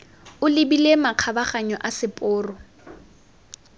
o lebile makgabaganyo a seporo